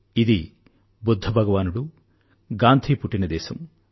ఇది బుధ్ధ భగవానుడు గాంధీ పుట్టిన దేశం